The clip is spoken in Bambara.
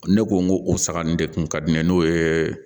Ne ko n ko o saŋa ni de kun ka di ne ye n'o ye